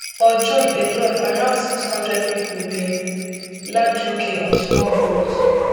for june alone around six hundred pipo bin land uk on small boats